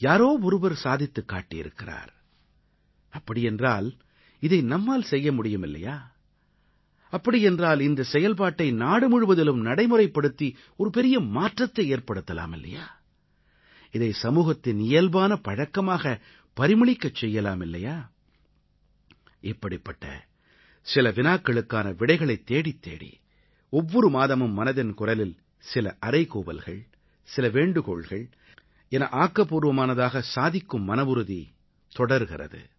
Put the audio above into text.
யாரோ ஒருவர் சாதித்துக் காட்டியிருக்கிறார் அப்படி என்றால் இதை நம்மால் செய்ய முடியுமில்லையா அப்படி என்றால் இந்தச் செயல்பாட்டை நாடு முழுவதிலும் நடைமுறைப்படுத்தி ஒரு பெரிய மாற்றத்தை ஏற்படுத்தலாம் இல்லையா இதை சமூகத்தின் இயல்பான பழக்கமாக பரிமளிக்கச் செய்யலாம் இல்லையா இப்படிப்பட்ட சில வினாக்களுக்கான விடைகளைத் தேடித்தேடி ஒவ்வொரு மாதமும் மனதின் குரலில் சில அறைகூவல்கள் சில வேண்டுகோள்கள் என ஆக்கப்பூர்வமானதாகச் சாதிக்கும் மனவுறுதி தொடர்கிறது